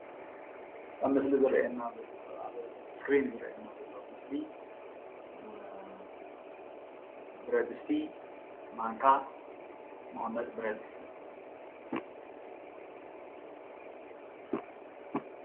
ኣብ ምስሊ ዝረአየና ኣብ እስክሪን ዝርአየና ዘሎ ምስሊ ብረድስቲ፣ ማንካ መቀመጢ ብረድስትን ኦዩ።